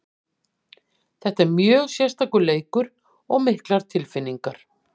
Þetta er mjög sérstakur leikur og miklar tilfinningar.